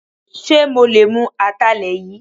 Ṣe mo lè mú Atalẹ yìí?